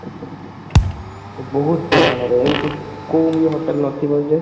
ବହୁତ ପରିମାଣରେ ଏମତି କୋଉ ଇଏ hotel ନଥିବ ଯେ